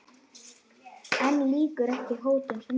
En lýkur ekki hótun sinni.